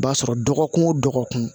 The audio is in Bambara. I b'a sɔrɔ dɔgɔkun o dɔgɔkun